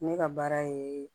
Ne ka baara ye